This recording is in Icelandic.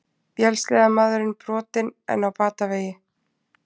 Vélsleðamaðurinn brotinn en á batavegi